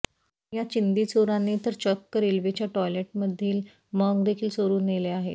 या चिंधी चोरांनी तर चक्क रेल्वेच्या टॉयलेटमधील मग देखील चोरून नेले आहेत